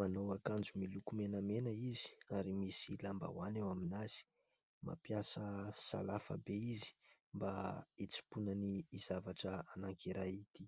Manao akanjo miloko menamena izy, ary misy lambahoany eo amin'azy. Mampiasa sahafa be izy mba hitsimponany ity zavatra anankiray ity.